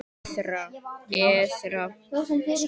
Esra